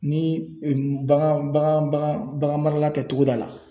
Ni bagan bagan bagan bagan marala tɛ togoda la.